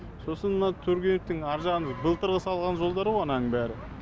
сосын мына тургеневтің арғы жағы былтыр салған жолдары ғо ананың бәрі